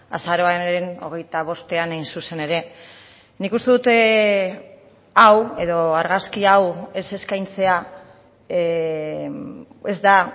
azaroaren hogeita bostean hain zuzen ere nik uste dut hau edo argazki hau ez eskaintzea ez da